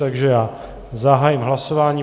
Takže já zahájím hlasování.